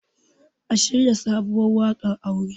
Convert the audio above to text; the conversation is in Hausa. a shirya sabuwar wakar aure!